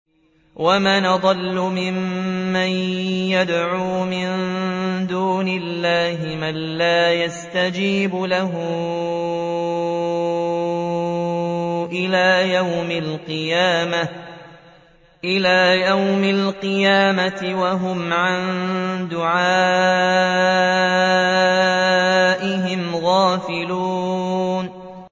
وَمَنْ أَضَلُّ مِمَّن يَدْعُو مِن دُونِ اللَّهِ مَن لَّا يَسْتَجِيبُ لَهُ إِلَىٰ يَوْمِ الْقِيَامَةِ وَهُمْ عَن دُعَائِهِمْ غَافِلُونَ